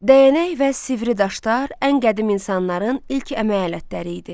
Dəyənək və sivri daşlar ən qədim insanların ilk əmək alətləri idi.